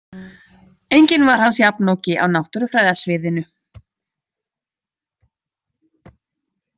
Enginn var hans jafnoki á náttúrufræðasviðinu